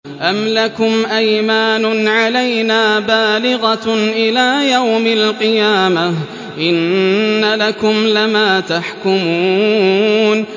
أَمْ لَكُمْ أَيْمَانٌ عَلَيْنَا بَالِغَةٌ إِلَىٰ يَوْمِ الْقِيَامَةِ ۙ إِنَّ لَكُمْ لَمَا تَحْكُمُونَ